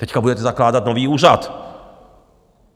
Teď budete zakládat nový úřad.